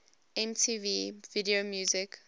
mtv video music